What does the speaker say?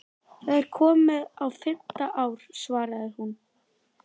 Hafði tognað úr honum síðan í gær?